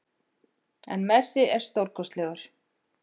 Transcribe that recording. En Messi er stórkostlegur